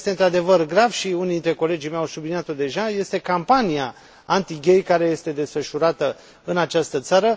Ceea ce este într adevăr grav și unii dintre colegii mei au subliniat o deja, este campania anti gay care este desfășurată în această țară.